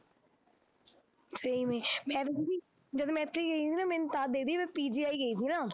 ਮੈਂ ਤਾਂ ਦੀਦੀ ਜਦ ਮੈਂ ਇੱਥੇ ਗਈ ਸੀ ਨਾ ਮੈਂ ਮੈਂ PGI ਗਈ ਸੀ ਨਾ